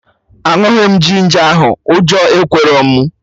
Aṅụghị m ginger ahụ, ụjọ ekwerọ mụ